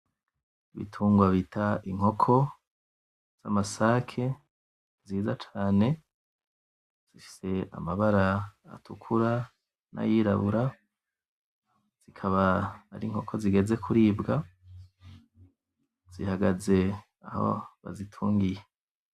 Ibitungwa bita inkoko z'amasake nziza cane, zifise amabara atukura nayirabura zikaba ari inkoko zigeze kuribwa zihagaze aho bazitungiye.